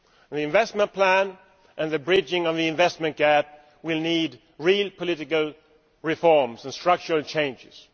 The investment plan and the bridging of the investment gap will need real political reforms and structural changes.